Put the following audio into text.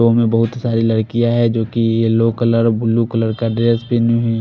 बोहोत साडी लडकिया है जो की येलो कलर ब्लू कलर का ड्रेस पहनी हुई है।